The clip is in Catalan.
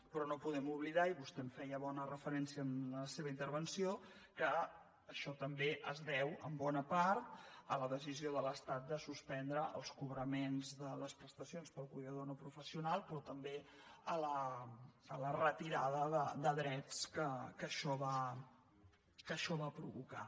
però no podem oblidar i vostè hi feia bona referència en la seva intervenció que això també es deu en bona part a la decisió de l’estat de suspendre els cobraments de les prestacions pel cuidador no professional però també a la retirada de drets que això va provocar